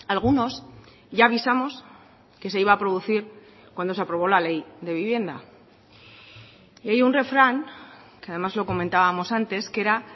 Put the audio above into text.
algunos ya avisamos que se iba a producir cuando se aprobó la ley de vivienda y hay un refrán que además lo comentábamos antes que era